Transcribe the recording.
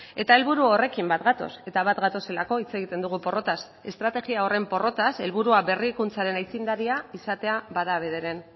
eta helburu horrekin bat gatoz eta bat gatozelako hitz egiten dugu porrotaz estrategia horren porrotaz helburua berrikuntzaren aitzindaria izatea bada bederen